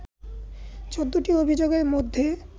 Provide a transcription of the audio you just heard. ১৪টি অভিযোগের মধ্যে